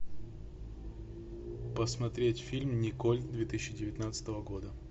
посмотреть фильм николь две тысячи девятнадцатого года